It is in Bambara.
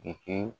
De kɛ